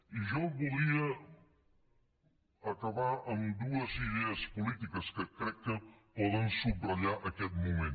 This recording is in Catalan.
i jo volia acabar amb dues idees polítiques que crec que poden subratllar aquest moment